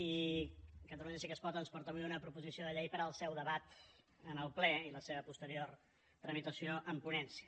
i catalunya sí que es pot ens porta avui una proposició de llei per al seu debat en el ple i la seva posterior tramitació en ponència